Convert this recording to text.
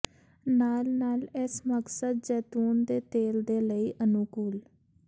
ਨਾਲ ਨਾਲ ਇਸ ਮਕਸਦ ਜੈਤੂਨ ਦੇ ਤੇਲ ਦੇ ਲਈ ਅਨੁਕੂਲ